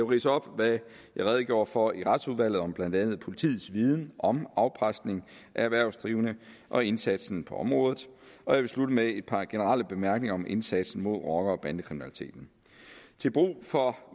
ridse op hvad jeg redegjorde for i retsudvalget om blandt andet politiets viden om afpresning af erhvervsdrivende og indsatsen på området og jeg vil slutte med et par generelle bemærkninger om indsatsen imod rocker og bandekriminaliteten til brug for